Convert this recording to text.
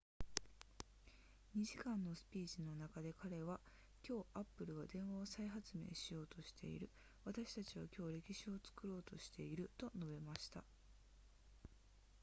2時間のスピーチの中で彼は今日 apple は電話を再発明しようとしている私たちは今日歴史を作ろうとしていると述べました